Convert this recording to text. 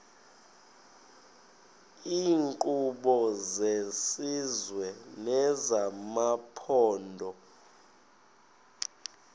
iinkqubo zesizwe nezamaphondo